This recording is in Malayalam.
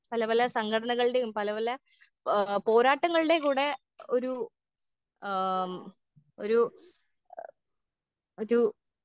പലപല സംഘടനകൾടീം പലപല ഏ പോരാട്ടങ്ങൾടീം കൂടെ ഒരു ആം ഒരു ആ ഒരു.